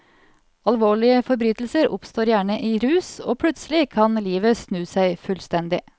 Alvorlige forbrytelser oppstår gjerne i rus, og plutselig kan livet snu seg fullstendig.